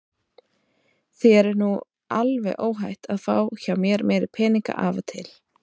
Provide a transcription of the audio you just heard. Þér er nú alveg óhætt að fá hjá mér meiri peninga af og til.